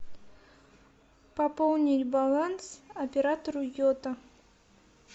пополнить баланс оператору йота